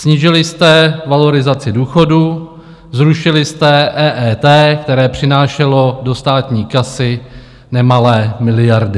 Snížili jste valorizaci důchodů, zrušili jste EET, které přinášelo do státní kasy nemalé miliardy.